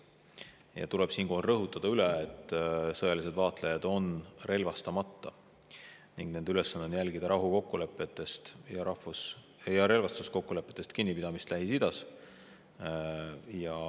Siinkohal tuleb üle rõhutada, et sõjalised vaatlejad on relvastamata ning nende ülesanne on jälgida rahukokkulepetest ja relvastuskokkulepetest kinnipidamist Lähis-Idas.